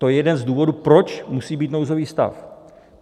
To je jeden z důvodů, proč musí být nouzový stav.